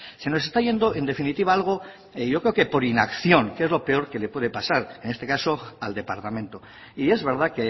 se nos está yendo en definitiva algo yo creo que por inacción que es lo peor que le puede pasar en este caso al departamento y es verdad